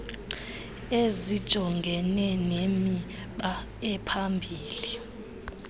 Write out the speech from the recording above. ezijongene nemiba ephambili